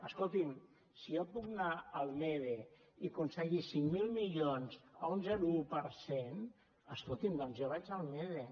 escolti’m si jo puc anar al mede i aconseguir cinc mil milions a un zero coma un per cent escolti’m doncs jo vaig al mede